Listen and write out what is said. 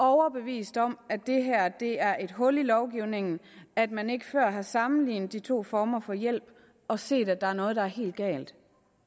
overbevist om at det er et hul i lovgivningen at man ikke før har sammenlignet de to former for hjælp og set at der er noget der er helt galt